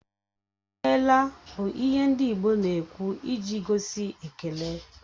"I meela" bụ ihe ndị Igbo na-ekwụ iji gosi ekele